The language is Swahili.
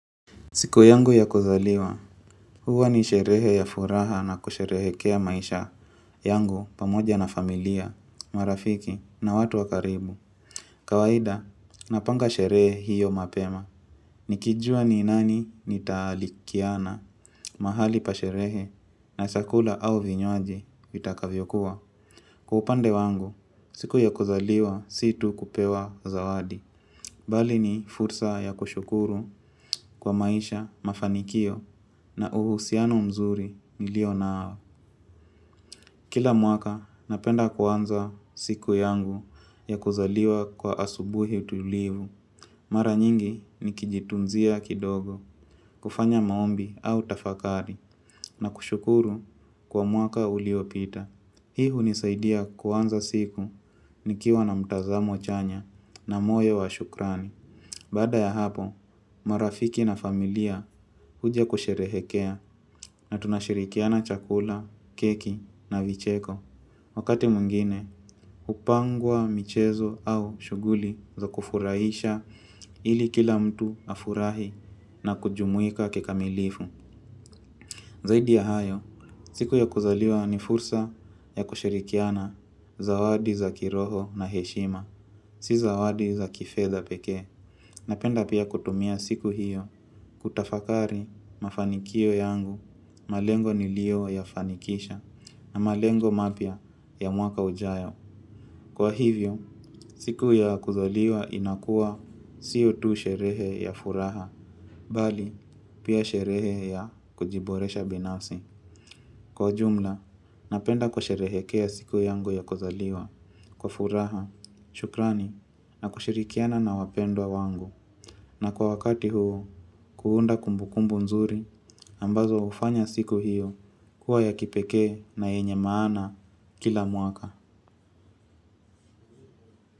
Siku yangu ya kuzaliwa, huwa ni sherehe ya furaha na kusherehekea maisha yangu pamoja na familia, marafiki na watu wa karibu. Kawaida, napanga sherehe hiyo mapema. Nikijua ni nani nitalikiana mahali pa sherehe na chakula au vinywaji vitakavyokuwa. Kwa upande wangu, siku ya kuzaliwa si tu kupewa zawadi. Bali ni fursa ya kushukuru kwa maisha mafanikio na uhusiano mzuri nilio nao. Kila mwaka napenda kuanza siku yangu ya kuzaliwa kwa asubuhi tulivu. Mara nyingi nikijitunzia kidogo kufanya maombi au tafakari na kushukuru kwa mwaka uliopita. Hii hunisaidia kuanza siku nikiwa na mtazamo chanya na moyo wa shukrani. Baada ya hapo, marafiki na familia huja kusherehekea na tunashirikiana chakula, keki na vicheko. Wakati mwingine, hupangwa, michezo au shughuli za kufurahisha ili kila mtu afurahi na kujumuika kikamilifu. Zaidi ya hayo, siku ya kuzaliwa ni fursa ya kushirikiana zawadi za kiroho na heshima. Si zawadi za kifedha pekee. Napenda pia kutumia siku hiyo. Kutafakari mafanikio yangu malengo nilioyafanikisha na malengo mapya ya mwaka ujao. Kwa hivyo, siku ya kuzaliwa inakuwa sio tu sherehe ya furaha. Bali, pia sherehe ya kujiboresha binafsi. Kwa ujumla, napenda kusherehekea siku yangu ya kuzaliwa, kwa furaha, shukrani, na kushirikiana na wapendwa wangu. Na kwa wakati huu, kuunda kumbukumbu nzuri ambazo hufanya siku hiyo kuwa ya kipekee na yenye maana kila mwaka.